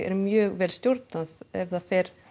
mjög vel stjórnað ef það fer